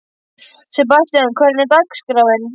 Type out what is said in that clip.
Sebastian, hvernig er dagskráin?